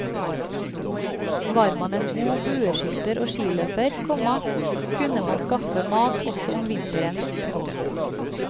Var man en god bueskytter og skiløper, komma kunne man skaffe mat også om vinteren. punktum